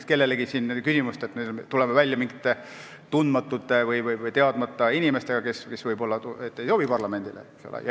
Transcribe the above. Me ei saa tekitada kellelegi küsimusi, nii et me tuleme välja mingite tundmatute või teadmata inimestega, kes võib-olla ei sobi parlamendile.